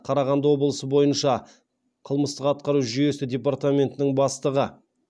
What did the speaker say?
қарағанды облысы бойынша қылмыстық атқару жүйесі департаментінің бастығы